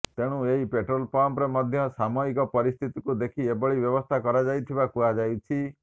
ତେଣୁ ଏହି ପେଟ୍ରୋଲ ପମ୍ପରେ ମଧ୍ୟ ସାମୟିକ ପରିସ୍ଥିତିକୁ ଦେଖି ଏଭଳି ବ୍ୟବସ୍ଥା କରାଯାଇଥିବା କୁହାଯାଉଛି